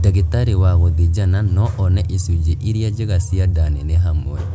Ndagĩtarĩ wa gũthĩnjana no one icunjĩ irĩa njega cia nda nene hamwe